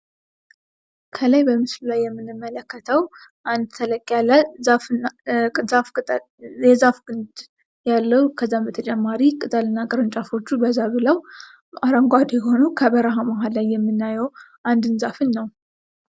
ከላይ በምስሉ ላይ የምንመለከተው አንድ ተለቅ ያለ የዛፍ ግድ ያለው ከዛም በተጨማሪ ቅጠልና ቅርንጫፎቹ በዛ ብለው አረጓዴ ሁነው ከበረሀ መሀል ላይ የምናዬው አንድን ዛፍን ነው።